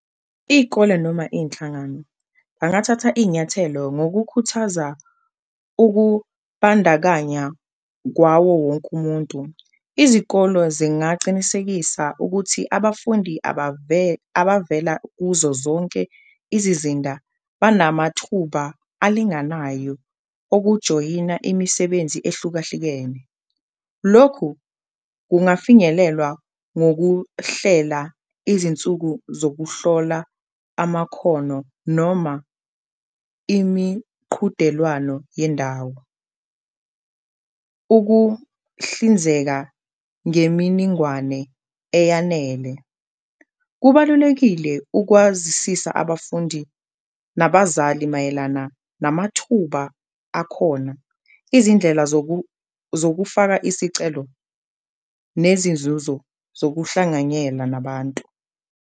Iy'kole noma iy'nhlangano bangathatha inyathelo ngokukhuthaza ukubandakanya kwawo wonke umuntu, izikolo zingacinisekisa ukuthi abafundi abavela kuzo zonke izizinda banamathuba alinganayo okujoyina imisebenzi ehlukahlukene. Lokhu kungafinyelelwa ngokuhlela izinsuku zokuhlola amakhono noma imiqhudelwano yendawo, ukuhlinzeka ngeminingwane eyanele. Kubalulekile ukwazisisa abafundi nabazali mayelana namathuba akhona, izindlela zokufaka isicelo nezinzuzo zokuhlanganyela nabantu.